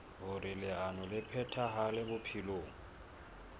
hoer leano le phethahale bophelong